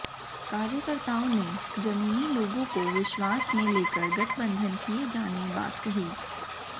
कार्यकर्ताओं ने जमीनी लोगों को विश्वास में लेकर गठबंधन किये जाने बात कही